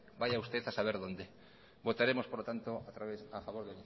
vaya usted a saber dónde votaremos por lo tanto a favor